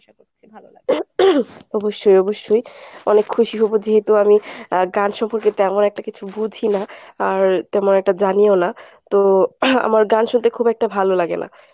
অবশ্যই অবশ্যই অনেক খুশি হব যেহেতু আমি আহ গান সম্পর্কে তেমন একটা কিছু বুঝি না, আর তেমন একটা জানিও না তো আমার গান শুনতে খুব একটা ভালো লাগে না।